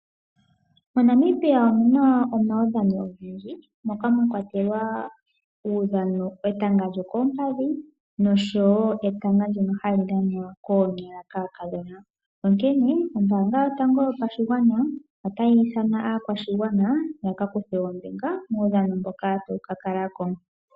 MoNamibia omuna omaudhano ogendji moka mwa kwatelwa uudhano etanga lyookombadhi nosho wo etango ndjono ha li dhanwa koonyala kaakadhona. Onkene ombanga yotango yopashigwana otayi ithana aakwashigwana ya ka kuthe ombinga muudhano mboka ta wu ka kala ko.